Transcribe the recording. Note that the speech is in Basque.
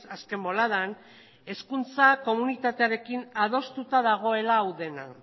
azken boladan hezkuntza komunitatearekin adostuta dagoela hau dena